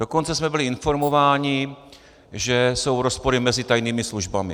Dokonce jsme byli informováni, že jsou rozpory mezi tajnými službami.